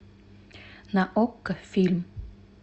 на окко фильм